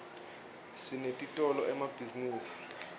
sinetitolo emabhzinisini